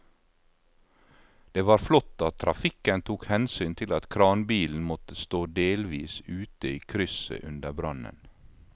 Det var flott at trafikken tok hensyn til at kranbilen måtte stå delvis ute i krysset under brannen.